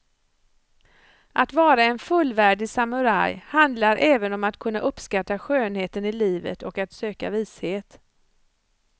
Att vara en fullvärdig samuraj handlar även om att kunna uppskatta skönheten i livet och att söka vishet.